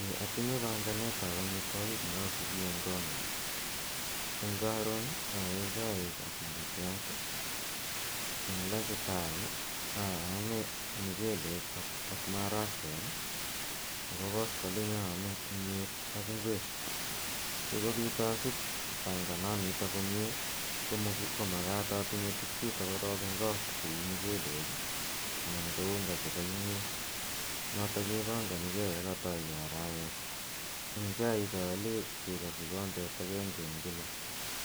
Eeh atinye paganet ne asui nepo amitwogiik en konyu. Eng' karon a ee chaik ak mukatiat i, eng' luchtime aame mchelek ak marakwek ako koskoliny amme miet ak ngwek. Asikopit asup pangananitok komye ko mkaat atinye tugchutok korok eng' kot kou mchelek anan ko unga chepo miet notok kepanganigei ye katai ge arawet. Eng' chaik aale cheko kikombet agenge kila